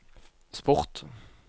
sport